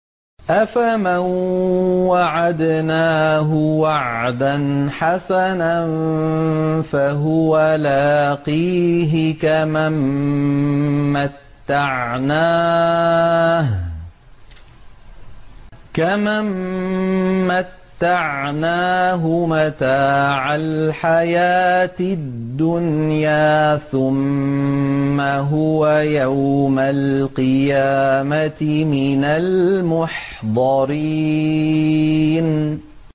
أَفَمَن وَعَدْنَاهُ وَعْدًا حَسَنًا فَهُوَ لَاقِيهِ كَمَن مَّتَّعْنَاهُ مَتَاعَ الْحَيَاةِ الدُّنْيَا ثُمَّ هُوَ يَوْمَ الْقِيَامَةِ مِنَ الْمُحْضَرِينَ